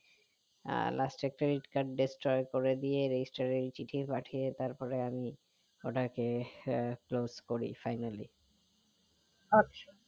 last এ credit card destroy করে দিয়ে register এ চিঠি পাঠিয়ে তারপরে আমি ওটাকে আহ close করি finally